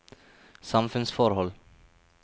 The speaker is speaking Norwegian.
samfunnsforhold